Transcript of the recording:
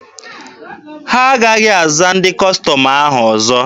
Ha agaghị aza ndị Kọstọm ahụ ọzọ.